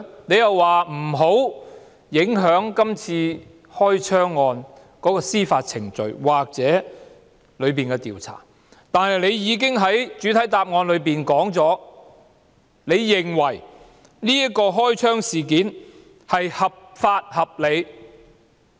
他又說不想影響今次開槍案件的司法程序或調查，但他在主體答覆中表示，他認為這宗開槍事件合法合理。